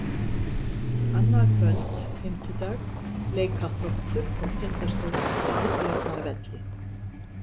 Annað kvöld, fimmtudag, leika Þróttur og Tindastóll á Valbjarnarvelli.